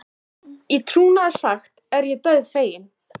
Í trúnaði sagt er ég dauðfeginn.